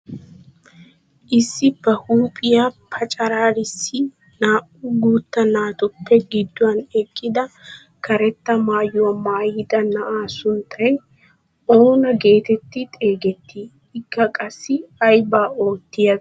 Issi ba huuphphiyaa pacaraarissi naa"u guutta naatupe gidduwaan eqqida karetta maayuwaa maayida na'aa sunttay oonaa geetetti xeegettii? Ikka qassi aybaa oottiyaabee?